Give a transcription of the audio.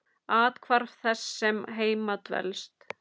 Athvarf þess sem heima dvelst.